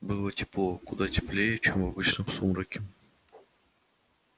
было тепло куда теплее чем обычно в сумраке